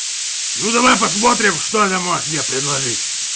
ну давай посмотрим что ты можешь мне предложить